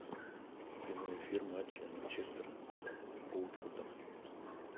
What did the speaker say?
прямой эфир матча манчестер с уотфордом